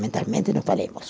mentalmente não falemos.